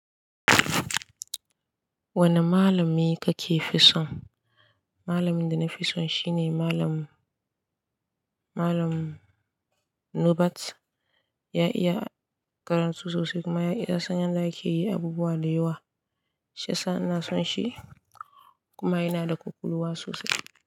Wane malami ka ke fi son? Malamin da na fi so shine malam, malam Nubat. Ya iya karatu sosai kuma ya iya san yanda ake yin abubuwa da yawa. Shiyasa ina son shi kuma yana da ƙwaƙwalwa sosai.